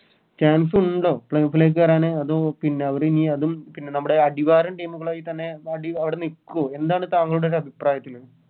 Chance ഉണ്ടോ ലേക്ക് കേറാന് അതോ പിന്നെ അവര് ഈ അതും പിന്നെ നമ്മുടെ അടിവാരം Team കളുമായിതന്നെ അടി അവിടെ നിക്കോ എന്താണ് താങ്കളുടെ ഒരു അഭിപ്രായത്തില്